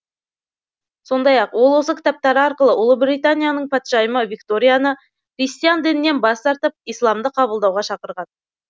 сондай ақ ол осы кітаптары арқылы ұлыбританияның патшайымы викторияны христиан дінінен бас тартып исламды қабылдауға шақырған